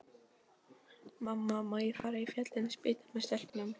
Mamma, má ég fara í Fallin spýta með stelpunum?